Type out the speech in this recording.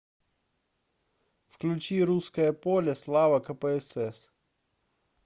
включи русское поле слава кпсс